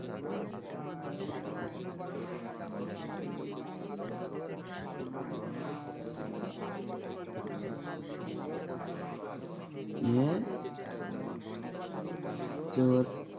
নিয়ে তোর